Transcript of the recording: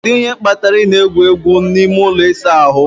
Kedu ihe kpatara ị na-egwu n'ime ụlọ ịsa ahụ